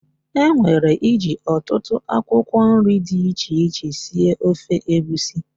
E nwere iji ọtụtụ akwụkwọ nri dị iche iche sie ofe egwusi.